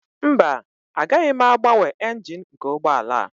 Mba, agaghị m agbanwe engine nke ụgbọ ala a